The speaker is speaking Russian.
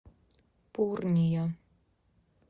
пурния